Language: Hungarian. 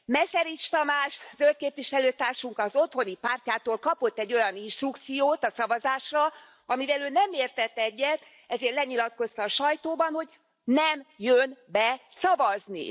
Meszerics Tamás Zöld képviselőtársunk az otthoni pártjától kapott egy olyan instrukciót a szavazásra, amivel ő nem értett egyet, ezért lenyilatkozta a sajtóban, hogy nem jön be szavazni.